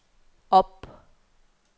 op